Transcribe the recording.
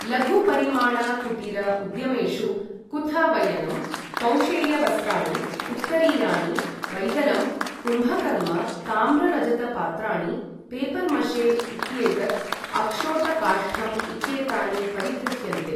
लघु परिमाण कुटीर उद्यमेषु कुथ वयनं, कौशेयवस्त्राणि, उत्तरीयाणि, वैदलं, कुम्भकर्म, ताम्र रजत पात्राणि, पेपर मशे इत्येतत्, अक्षोट काष्ठम् इत्येतानि परिगृह्यन्ते।